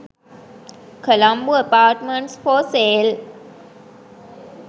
colombo apartments for sale